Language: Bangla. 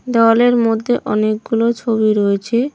দেওয়ালের মধ্যে অনেকগুলো ছবি রয়েছে।